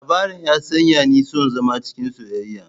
Labarin ya sanya ni son zama cikin soyayya.